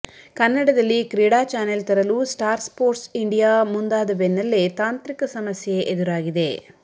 ಕನ್ನಡದಲ್ಲಿ ಕ್ರೀಡಾ ಚಾನೆಲ್ ತರಲು ಸ್ಟಾರ್ ಸ್ಫೋರ್ಟ್ಸ್ ಇಂಡಿಯಾ ಮುಂದಾದ ಬೆನ್ನಲ್ಲೇ ತಾಂತ್ರಿಕ ಸಮಸ್ಯೆ ಎದುರಾಗಿದೆ